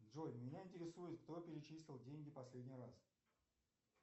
джой меня интересует кто перечислил деньги последний раз